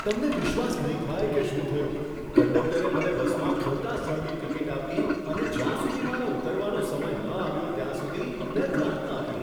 તમને વિશ્વાસ નહીં થાય કે શું થયું! કંડક્ટરે મને બસમાં ખોટા સ્થળની ટિકિટ આપી, અને જ્યાં સુધી મારા ઉતરવાનો સમય ન આવ્યો ત્યાં સુધી મેં ધ્યાન ન આપ્યું!